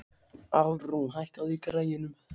Alrún, hækkaðu í græjunum.